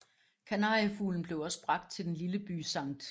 Kanariefuglen blev også bragt til den lille by St